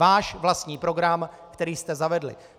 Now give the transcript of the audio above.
Váš vlastní program, který jste zavedli!